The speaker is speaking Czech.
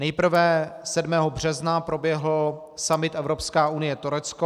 Nejprve 7. března proběhl summit Evropská unie - Turecko.